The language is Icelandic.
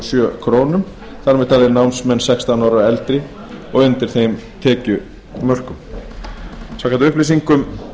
sjö krónur þar með taldir námsmenn sextán ára og eldri undir þeim tekjumörkum samkvæmt upplýsingum